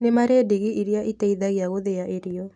Nĩmarĩ ndigi iria iteithagia gũthĩa irio